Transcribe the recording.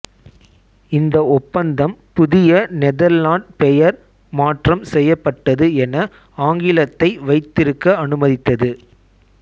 இந்த ஒப்பந்தம் புதிய நெதர்லாண்ட் பெயர் மாற்றம் செய்யப்பட்டது என ஆங்கிலத்தை வைத்திருக்க அனுமதித்தது